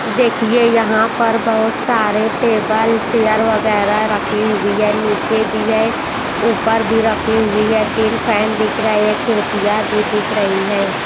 देखिए यहाँ पर बहुत सारे टेबल चेयर वगैरह रखी हुई है नीचे भी है ऊपर भी रखी हुई है तीन फैन दिख रहा है खिड़कियाँ भी दिख रही है।